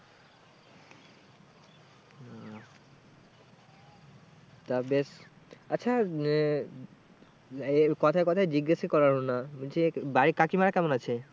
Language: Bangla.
তা বেশ আচ্ছা আহ এ কথায় কথায় জিজ্ঞেসই করা হলো না যে বাড়ির কাকিমারা কেমন আছে?